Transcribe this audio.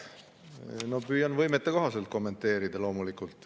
Püüan loomulikult oma võimete kohaselt kommenteerida.